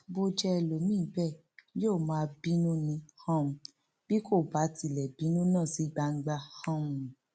bó jẹ ẹlòmíín bẹẹ yóò máa bínú ni um bí kò bá tilẹ bínú náà sí gbangba um